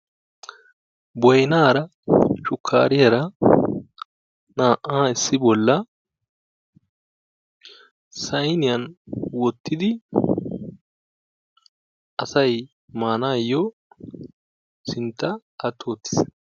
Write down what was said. boynaara shukkariyaara naa"aa issi bollaa sayniyaan woottidi asay maanayoo asay sintta atti uttiis.